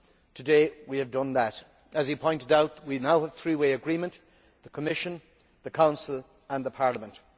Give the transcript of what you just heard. today we have done that. As he pointed out, we now have three way agreement the Commission, the Council and Parliament.